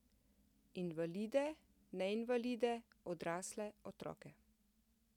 Invalide, neinvalide, odrasle, otroke.